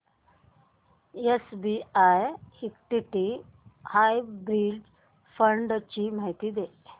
SBI equity hybrid fund ची माहिती दे